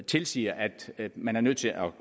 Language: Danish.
tilsiger at man er nødt til at